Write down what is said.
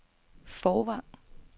Fårvang